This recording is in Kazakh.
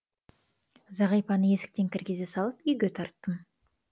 зағипаны есіктен кіргізе салып үйге тарттым